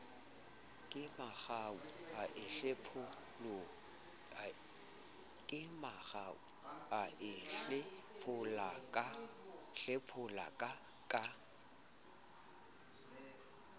kemangau a e hlepholaka ka